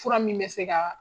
Fura min bɛ se ka